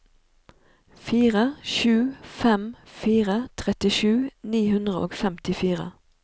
fire sju fem fire trettisju ni hundre og femtifire